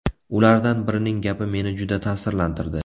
Ulardan birining gapi meni juda ta’sirlantirdi.